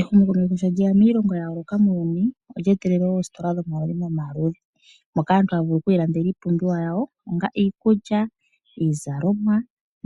Ehumokomeho sho lyeya miilongo ya yooloka muuyuni, olya etelele oostola dhomaludhi nomaludhi moka aantu haa vulu okwiilandela iipumbiwa yawo onga iikulya, iizalomwa